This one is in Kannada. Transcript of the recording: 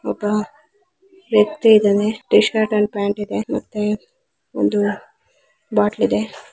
ಒಬ್ಬ ವ್ಯಕ್ತಿ ಇದ್ದಾನೆ ಟೀಶರ್ಟ್ ಆಂಡ್ ಪ್ಯಾಂಟ್ ಇದೆ ಮತ್ತೆ ಒಂದು ಬೊಟ್ಟ್ಲ್ ಇದೆ.